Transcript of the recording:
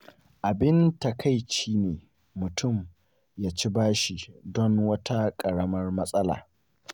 Abin takaici ne mutum ya ci bashi don wata ƙaramar matsala.